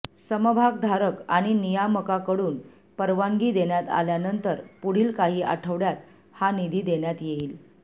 समभागधारक आणि नियामकाकडून परवानगी देण्यात आल्यानंतर पुढील काही आठवडय़ांत हा निधी देण्यात येईल